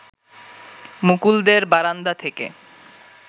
মুকুলদের বারান্দা থেকে